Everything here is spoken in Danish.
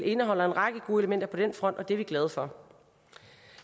indeholder en række gode elementer på den front og det er vi glade for